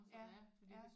Ja ja